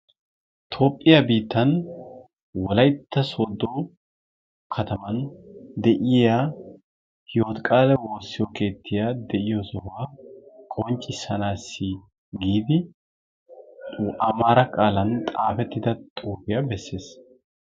Toophphiya biittan wolaytta sodo kataman hiwotikaale woossiyo keettay de'iyo sohuwa amaara qaalan xaafettida xuufiya besees.